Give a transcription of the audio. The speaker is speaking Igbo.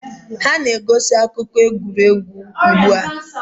Ha na-egosi akụkọ egwuregwu ugbu a?